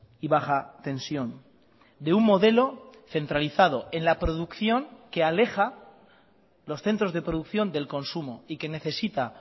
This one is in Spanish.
y baja tensión de un modelo centralizado en la producción que aleja los centros de producción del consumo y que necesita